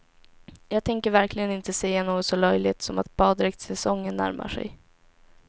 Jag tänker verkligen inte säga något så löjligt som att baddräktssäsongen närmar sig.